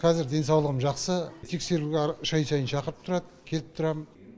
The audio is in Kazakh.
қазір денсаулығым жақсы тексеруге әр үш ай сайын шақырып тұрады келіп тұрам